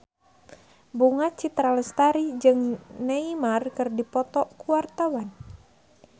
Bunga Citra Lestari jeung Neymar keur dipoto ku wartawan